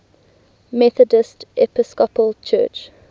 methodist episcopal church